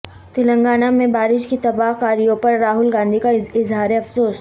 تلنگانہ میں بارش کی تباہ کاریوں پر راہول گاندھی کا اظہار افسوس